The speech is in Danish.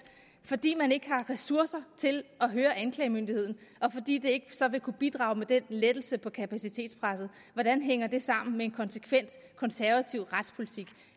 fordi man ikke har ressourcer til at høre anklagemyndigheden og fordi det så ikke vil kunne bidrage til lettelsen på kapacitetspresset hvordan hænger det sammen med en konsekvent konservativ retspolitik